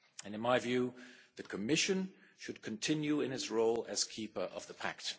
In my view, the Commission should continue in its role as keeper of the pact.